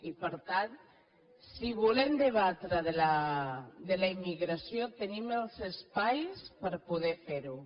i per tant si volem debatre de la immigració tenim els espais per poder fer ho